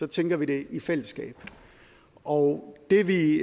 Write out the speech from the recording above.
tænker det i fællesskab og det vi